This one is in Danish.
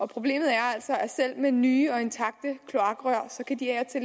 problemet er altså at selv nye og intakte kloakrør